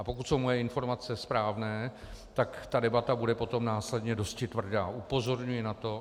A pokud jsou moje informace správné, tak ta debata bude potom následně dosti tvrdá, upozorňuji na to.